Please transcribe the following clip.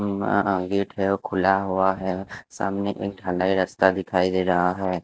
Gate है वो खुला हुआ है सामने एक ढलाई रास्ता दिखाई दे रहा है।